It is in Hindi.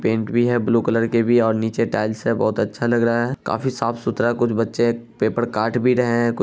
पेंट भी है ब्लू कलर के भी और नीचे टाइल्स भी हैं बहुत अच्छा लग रहा है काफी साफ सुथरा है कुछ बच्चे पेपर काट भी रहे हैं।